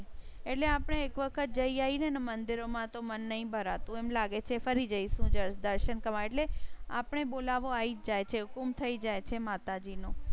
એટલે આપણે એક વખત જઈ ને મંદિરો માં તો મન નથી ભરા તું એમ લાગે છે, ફરી જઈ શું જ દર્શન કરવા એટલે આપ ને બોલાવો. આઈ જાય છે, હા હુકુમ થઈ જાય છે માતાજી નું. હા હુકુમ થઈ જાય.